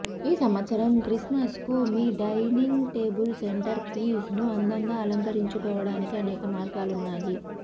ఈ సంవత్సరం క్రిస్మస్ కు మీ డైనింగ్ టేబుల్ సెంటర్ పీస్ ను అందంగా అలంకరించుకోవడానికి అనేక మార్గాలున్నాయి